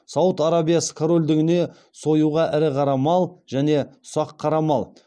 сауд арабиясы корольдігіне союға ірі қара мал және ұсақ қара мал